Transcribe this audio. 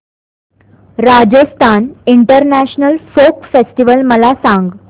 Rajasthan international folk festival मला सांग